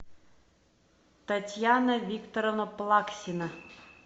татьяна викторовна плаксина